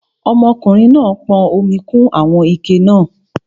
Ọmọkùnrin náà pọn omi kún àwọn ike náà